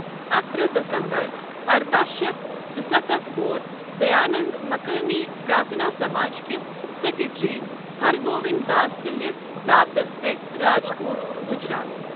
اکترٛہ دسمبر ارداہ شیتھ ژُستتھ، ووت دیاننٛد مقٲمی پرٛاتھنا سماج کِس سیكٹری ہرگووِند داس سٕنٛدِس دعوتس پیٹھ راجکوٹ، گجرات۔